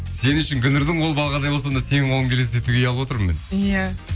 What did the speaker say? сен үшін гүлнұрдың қолы балғадай болса онда сенің қолыңды елестетуге ұялып отырмын мен иә